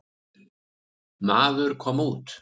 Maður kom út.